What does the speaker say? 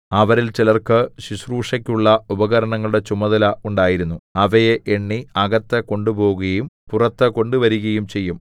അവരിൽ ചിലർക്കു ശുശ്രൂഷയ്ക്കുള്ള ഉപകരണങ്ങളുടെ ചുമതല ഉണ്ടായിരുന്നു അവയെ എണ്ണി അകത്ത് കൊണ്ടുപോകുകയും പുറത്ത് കൊണ്ടുവരികയും ചെയ്യും